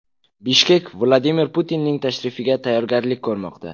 Bishkek Vladimir Putinning tashrifiga tayyorgarlik ko‘rmoqda.